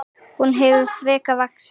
Hún hefur frekar vaxið.